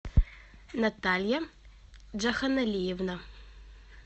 наталья джаханалиевна